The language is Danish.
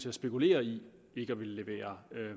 at spekulere i ikke at ville levere